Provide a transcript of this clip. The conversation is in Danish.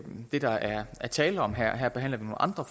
det der er tale om her her behandler vi nogle andre